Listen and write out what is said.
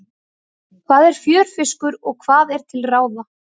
Hvað er fjörfiskur og hvað er til ráða?